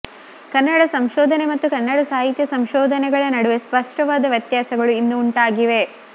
ಕನ್ನಡ ಸಂಶೋಧನೆ ಮತ್ತು ಕನ್ನಡ ಸಾಹಿತ್ಯ ಸಂಶೋಧನೆಗಳ ನಡುವೆ ಸ್ಪಷ್ಟವಾದ ವ್ಯತ್ಯಾಸಗಳು ಇಂದು ಉಂಟಾಗಿವೆ